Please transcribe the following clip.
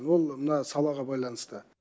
ол мына салаға байланысты